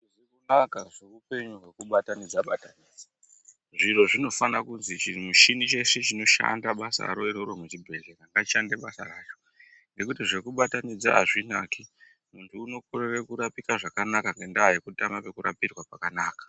Hazvizi kunaka zveupenyu hwekubatanidza-batanidza zviro zvinofana kuzi chimushini chese chinoshanda basaro iroro muchibhedhlera ngachishande basa racho. Ngekuti zvekubatanidza hazvi naki muntu unokorereke kurapika zvakanaka ngendaa yekutama pekurapirwa pakanaka.